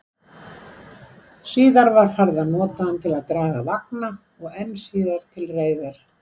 Síðar var farið að nota hann til að draga vagna, og enn síðar til reiðar.